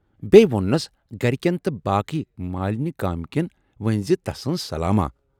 بییہِ ووننَس گرِکٮ۪ن تہٕ بٲقی مالِنۍ گامہٕ کٮ۪ن ؤنۍزِ تسٕنز سلاماہ۔